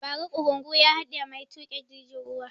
Ba ra ƙurungu ya haɗiye mai tuƙa jirgin ruwa